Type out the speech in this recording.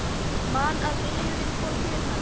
Man að vinurinn kom til hans.